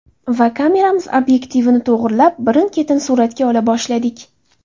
Va kameramiz obyektivini to‘g‘irlab, birin-ketin suratga ola boshladik.